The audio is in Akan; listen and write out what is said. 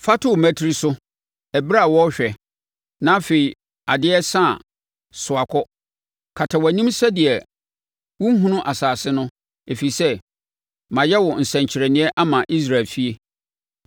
Fa to wo mmatire so, ɛberɛ a wɔrehwɛ, na afei adeɛ resa a, soa kɔ. Kata wʼanim sɛdeɛ wonhunu asase no, ɛfiri sɛ mayɛ wo nsɛnkyerɛnneɛ ama Israel efie.”